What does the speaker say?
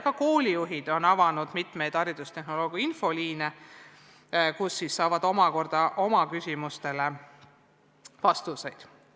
Ka koolijuhid on avanud mitmeid haridustehnoloogia infoliine, kus nad saavad oma küsimustele vastuseid.